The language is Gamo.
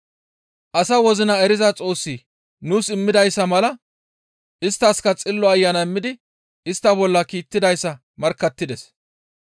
Asa wozina eriza Xoossi nuus immidayssa mala isttaskka Xillo Ayana immidi istta baas ekkidayssa markkattides.